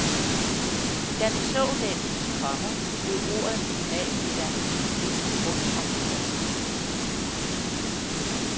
Da vi så den, komma blev ordet minimalmiddag hvisket rundt om bordet. punktum